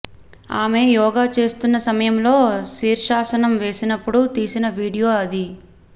ఆమె యోగా చేస్తున్న సయమంలో శీర్షాసనం వేసినప్పుడు తీసిన వీడియో అది